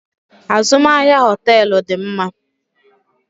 Azụmahịa hoteelu dị mma.